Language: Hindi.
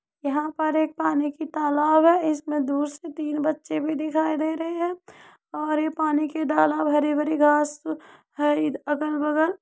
यहाँ पर एक पानी की तालाब है। इसमें दूर से तीन बच्चे भी दिखाई दे रहें हैं और ये पानी की ढाला हरी-भरी घास है ई अगल-बगल --